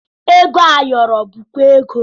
Ego ayọrọ bụkwa ego